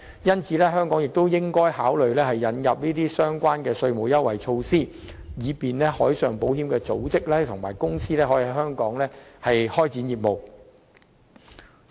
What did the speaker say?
因此，香港亦應考慮引入此類稅務優惠措施，以吸引海上保險的組織/公司在香港開展業務。